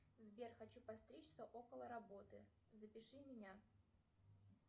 сбер хочу постричься около работы запиши меня